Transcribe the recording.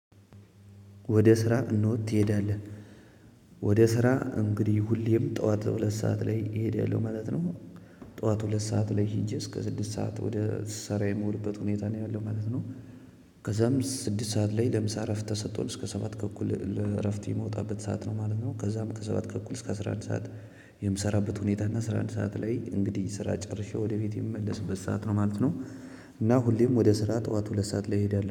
ወደ ስራ እንሆ ትሄዳለህ ወደ ስራ እንግዲህ ሁሌም ጠዋት ሁለት ሰዓት እሄዳለው ማለት ነው። ጠዋት ሁለት ሰዓት ላይ ሂጄ እስከ ስድስት ሰዓት ወደ ስራ የምውልበት ሁኔታ ላይ ነው ያለሁት ማለት ነው። ከዛም ስድስት ሰዓት ላይ ለምሳ እረፍት ተሰጥቶን እስከ ሰባት ተኩል ለዕረፍት የምንወጣው ሰዓት ማለት ነው። ከዛም ከሰባት ተኩል እስከ አስረ አንድ ሰዓት የምሰራበት ሁኔታ እና አስራ አንድ ሰዓት ላይ እንግዲህ ስራ ጨርሼ ወደ ቤቴ የምመለስበት ሰዓት ነው ማለት ነው፤ እና ሁሌም ወደ ስራ ጠዋት ሁለት ሰዓት ላይ እሄዳለሁ